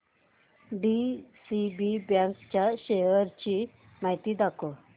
DCB बँक च्या शेअर्स ची माहिती दाखव